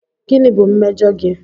Gịnị bụ mmejọ gị?